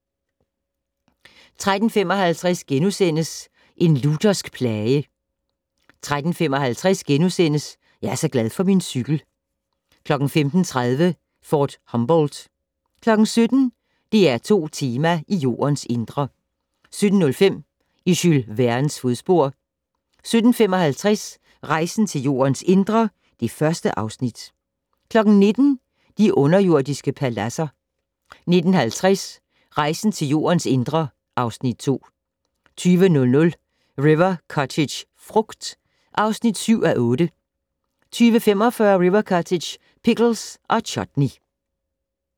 13:35: En luthersk plage * 13:55: Jeg er så glad for min cykel * 15:30: Fort Humboldt 17:00: DR2 Tema: I Jordens indre 17:05: I Jules Vernes fodspor 17:55: Rejsen til Jordens indre (Afs. 1) 19:00: I de underjordiske paladser 19:50: Rejsen til Jordens indre (Afs. 2) 20:00: River Cottage - frugt (7:8) 20:45: River Cottage - pickles & chutney